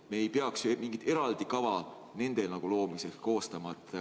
Me ei peaks ju mingit eraldi kava nende loomiseks koostama.